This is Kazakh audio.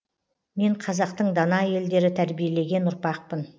мен қазақтың дана әйелдері тәрбиелеген ұрпақпын